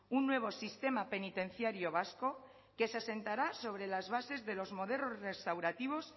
un nuevo sistema penitenciario vasco que se asentará sobre las bases de los modelos restaurativos